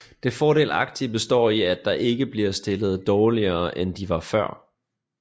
Det fordelagtige består i at de ikke bliver stillet dårligere end de var før